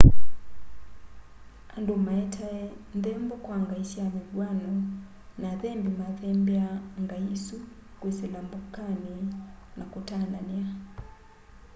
andu maetae nthembo kwa ngai sya mivw'ano na athembi mathembeaa ngai isu kwisila mbokani na kutanania